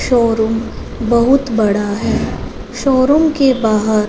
showroom बहुत बड़ा है शोरूम के बाहर--